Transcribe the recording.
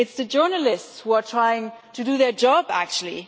It is the journalists who are trying to do their job, actually.